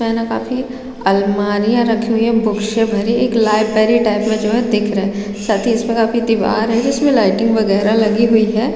इसमें है न काफी अलमारिया रखी हुई है बुक से भरी एक लाइबेरी टाइप में जो हैना दिख रहा है साथ ही इसमें काफी दिवार है जिसमे लिघ्टयिंग वगेरा लगी हुई है।